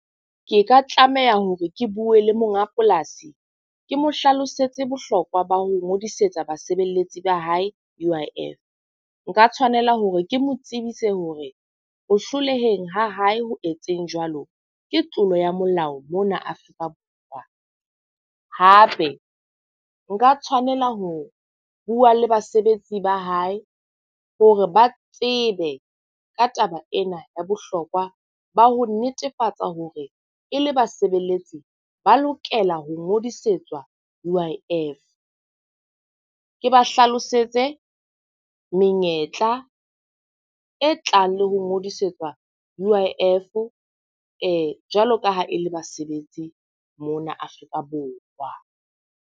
Ke ka tlameha hore ke bue le monga polasi, ke mo hlalosetse bohlokwa ba ho ngodisetsa basebeletsi ba hae U_I_F. Nka tshwanela hore ke mo tsebise hore ho hloleheng ha hae ho etseng jwalo ke tlolo ya molao mona Afrika Borwa. Hape nka tshwanela ho bua le basebetsi ba hae hore ba tsebe ka taba ena ya bohlokwa ba ho netefatsa hore e le basebeletsi ba lokela ho ngodisetsa U_I_F. Ke ba hlalosetse menyetla e tlang le ho ngodisetsa U_I_F jwalo ka ha e le basebetsi mona Afrika Borwa.